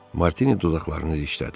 Martini dodaqlarını dişlədi.